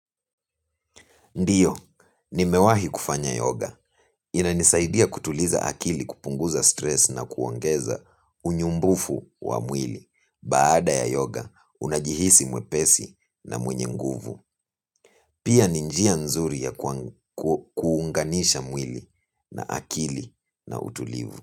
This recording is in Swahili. Ndiyo, nimewahi kufanya yoga. Inanisaidia kutuliza akili kupunguza stress na kuongeza unyumbufu wa mwili. Baada ya yoga, unajihisi mwepesi na mwenye nguvu. Pia ni njia nzuri ya kuunganisha mwili na akili na utulivu.